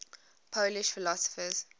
polish philosophers